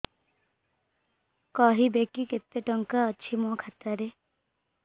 କହିବେକି କେତେ ଟଙ୍କା ଅଛି ମୋ ଖାତା ରେ